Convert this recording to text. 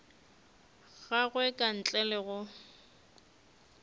gagwe ka ntle le go